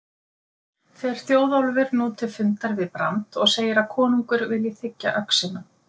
Fer Þjóðólfur nú til fundar við Brand og segir að konungur vill þiggja öxina.